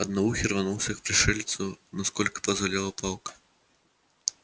одноухий рванулся к пришельцу насколько позволяла палка